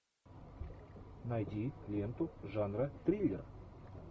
найди ленту жанра триллер